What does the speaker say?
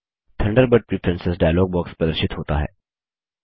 Thunderbird preference dialog box प्रदर्शित होता है